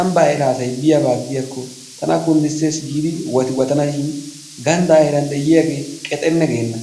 ambbaa heera asay biyaabba gidiyakko tana kundisses giidi wattiwatanashin gandda heeran de'yagge qexenne geena.